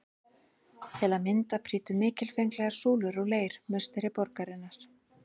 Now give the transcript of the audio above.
Til að mynda prýddu mikilfenglegar súlur úr leir musteri borgarinnar.